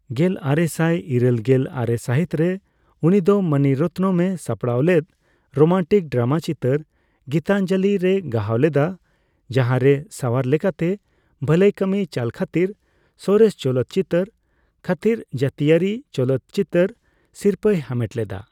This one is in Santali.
᱑᱙᱘᱙ᱜᱮᱞᱟᱨᱮᱥᱟᱭ ᱤᱨᱟᱹᱞᱜᱮᱞ ᱟᱨᱮ ᱥᱟᱦᱤᱛ ᱨᱮ, ᱩᱱᱤᱫᱚ ᱢᱚᱱᱤ ᱨᱚᱛᱱᱚᱢ ᱼᱮ ᱥᱟᱯᱲᱟᱣᱞᱮᱫ ᱨᱳᱢᱟᱱᱴᱤᱠ ᱰᱨᱟᱢᱟ ᱪᱤᱛᱟᱹᱨ ᱜᱤᱛᱟᱧᱡᱚᱞᱚ ᱨᱮᱭ ᱜᱟᱦᱟᱣ ᱞᱮᱫᱟ, ᱡᱟᱦᱟᱸ ᱨᱮ ᱥᱟᱣᱟᱨ ᱞᱮᱠᱟᱛᱮ ᱵᱷᱟᱹᱞᱟᱹᱭ ᱠᱟᱢᱤ ᱪᱟᱞᱠᱷᱟᱛᱤᱨ ᱥᱚᱨᱮᱥ ᱪᱚᱞᱚᱛ ᱪᱤᱛᱟᱹᱨ ᱠᱷᱟᱹᱛᱤᱨ ᱡᱟᱹᱛᱤᱭᱟᱹᱨᱤ ᱪᱚᱞᱚᱛ ᱪᱤᱛᱟᱹᱨ ᱥᱤᱨᱯᱟᱹᱭ ᱦᱟᱢᱮᱴ ᱞᱮᱫᱟ ᱾